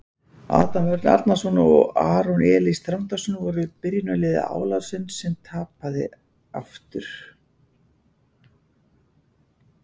Adam Örn Arnarson og Aron Elís Þrándarson voru í byrjunarliði Álasunds sem tapaði aftur.